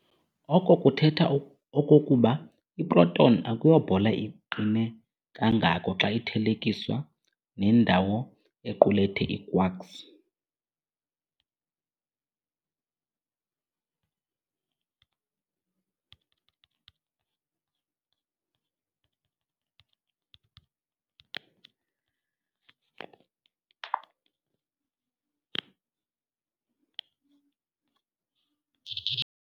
Oko kuthetha okokuba i-proton akuyo bhola iqine kangako xa ithelekiswa nendawo equlethe ii-quarks.